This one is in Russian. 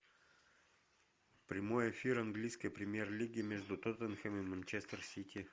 прямой эфир английской премьер лиги между тоттенхэм и манчестер сити